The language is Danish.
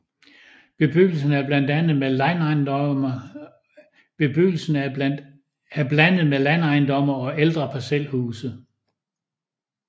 Bebyggelsen er blandet med landejendomme og ældre parcelhuse